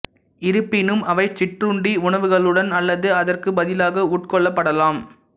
இருப்பினும் அவை சிற்றுண்டி உணவுகளுடன் அல்லது அதற்கு பதிலாக உட்கொள்ளப்படலாம்